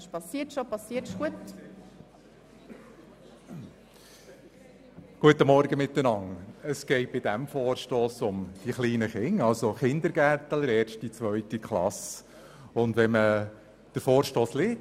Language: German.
Es geht bei diesem Vorstoss um die kleinen Kinder, das heisst um Kinder, die den Kindergarten sowie die erste und zweite Klasse besuchen.